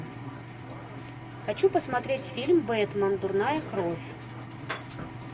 хочу посмотреть фильм бэтмен дурная кровь